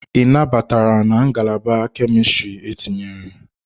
Ị nabatara na Ngalaba Kemistri etinyere?